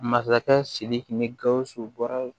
Masakɛ sidiki ni gausu bɔra